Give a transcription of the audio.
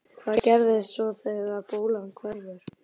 Hvað gerist svo þegar bólan hverfur?